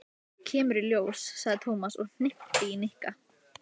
Kemur í ljós, sagði Tómas og hnippti í Nikka.